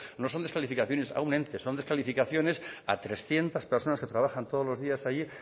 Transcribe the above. no son descalificaciones a un ente son descalificaciones a trescientos personas que trabajan todos los días allí